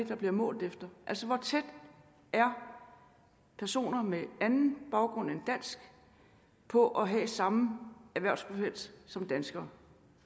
der bliver målt efter altså hvor tæt er personer med anden baggrund end dansk på at have samme erhvervsfrekvens som danskere